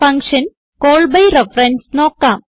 function call by reference നോക്കാം